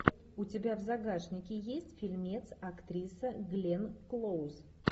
у тебя в загашнике есть фильмец актриса глен клоуз